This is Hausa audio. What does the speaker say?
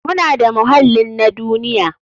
Muna da muhallin na duniya.